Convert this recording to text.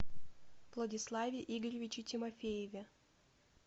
владиславе игоревиче тимофееве